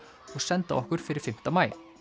og senda okkur fyrir fimmta maí